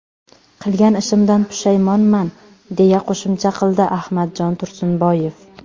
Qilgan ishimdan pushaymonman”, deya qo‘shimcha qildi Ahmadjon Tursunboyev.